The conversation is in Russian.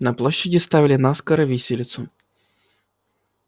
на площади ставили наскоро виселицу